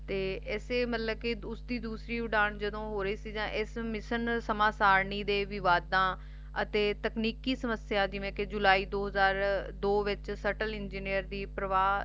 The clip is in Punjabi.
ਤੇ ਉਸਦੀ ਦੂਸਰੀ ਉਡਾਣ ਜਦੋ ਹੋ ਰਹੀ ਸੀ Mission ਸਮਸਰਨੀ ਦੇ ਵਿਵਾਦਾ ਅਤੇ ਤਕਨੀਕੀ ਸਮੱਸਿਆ ਜਿਵੇਂ ਕਿ ਜੁਲਾਈ ਦੋ ਹਜਾਰ ਦੋ ਵਿਚ ਸਤਲ Engineer ਦੀ ਪਰਵਾਹ